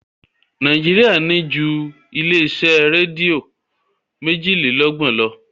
Nàíjíríà ní ju ilé-iṣẹ́ rédíò méjìlélọ́gbọ̀n lọ.